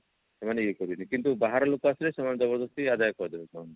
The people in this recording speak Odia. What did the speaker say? ସେମାନେ ଇଏ କରିବେନି କିନ୍ତୁ ବାହାର ଲୋକ ଆସିଲେ ସେମାନେ ଜବରଦସ୍ତି ଆଦାୟ କରିଦେବେ ସେମାନଙ୍କ ଠୁ